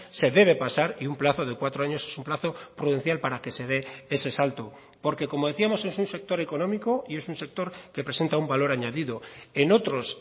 se debe pasar y un plazo de cuatro años es un plazo prudencial para que se dé ese salto porque como decíamos es un sector económico y es un sector que presenta un valor añadido en otros